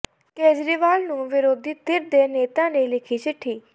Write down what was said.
ਕੇਜਰੀਵਾਲ ਨੂੰ ਵਿਰੋਧੀ ਧਿਰ ਦੇ ਨੇਤਾ ਨੇ ਲਿਖੀ ਚਿੱਠੀ